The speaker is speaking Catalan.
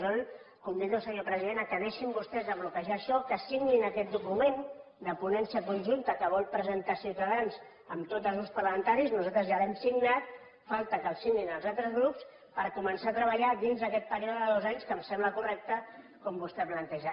jo el convido senyor president que deixin vostès de bloquejar això que signin aquest document de ponència conjunta que vol presentar ciutadans amb tots els grups parlamentaris nosaltres ja l’hem signat falta que el signin els altres grups per començar a treballar dins d’aquest període de dos anys que em sembla correcte com vostè planteja